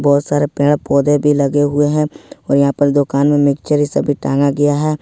बहोत सारे पेड़ पौधे भी लगे हुए हैं और यहां पर दुकानो में सब भी टांगा गया है।